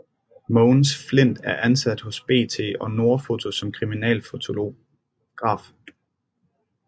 Mogens Flindt er ansat hos BT og Nordfoto som kriminalfotograf